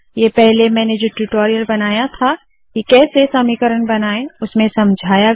ये पहले मैंने जो ट्यूटोरियल बनाया था के कैसे समीकरण बनाए उसमें समझाया गया है